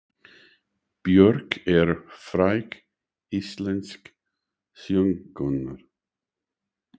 Björk er fræg íslensk söngkona.